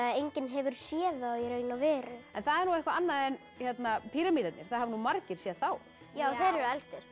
enginn hefur séð það í raun og veru það er eitthvað annað en píramídarnir það hafa margir séð þá þeir eru elstir